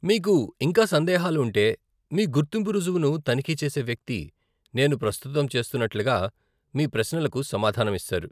మీకు ఇంకా సందేహాలు ఉంటే, మీ గుర్తింపు రుజువును తనిఖీ చేసే వ్యక్తి, నేను ప్రస్తుతం చేస్తున్నట్లుగా, మీ ప్రశ్నలకు సమాధానం ఇస్తారు.